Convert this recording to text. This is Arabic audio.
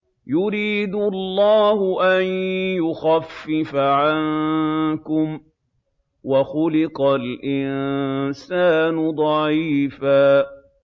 يُرِيدُ اللَّهُ أَن يُخَفِّفَ عَنكُمْ ۚ وَخُلِقَ الْإِنسَانُ ضَعِيفًا